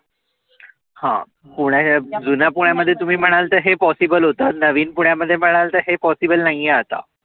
हा पुण्या ह्या जुण्या पुण्यामध्ये तुम्ही म्हणाल तर हे possible होतं. नविन पुण्यामध्ये म्हणाल तर हे possible नाहिए आता.